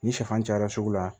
Ni sɛfan cayara sugu la